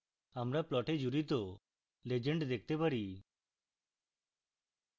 আমরা plot জুড়িত legend দেখতে পারি